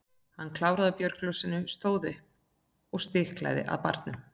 Hann kláraði úr bjórglasinu, stóð upp og stikaði að barnum.